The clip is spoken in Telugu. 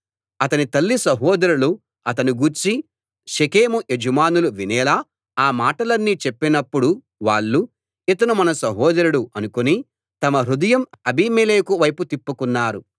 అతని తల్లి సహోదరులు అతని గూర్చి షెకెము యజమానులు వినేలా ఆ మాటలన్నీ చెప్పినప్పుడు వాళ్ళు ఇతను మన సహోదరుడు అనుకుని తమ హృదయం అబీమెలెకు వైపు తిప్పుకున్నారు